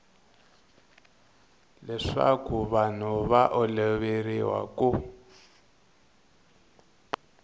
leswaku vanhu va oloveriwa ku